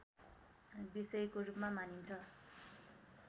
विषयको रूपमा मानिन्छ